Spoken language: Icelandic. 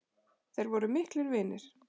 Þeir voru miklir vinir.